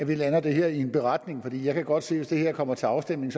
vi lander det her i en beretning for jeg kan godt se at hvis det her kommer til afstemning